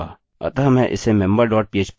अतः मैं इसे member dot php के रूप में सेव करूँगा